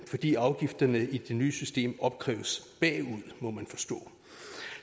fordi afgifterne i det nye system opkræves bagud må man forstå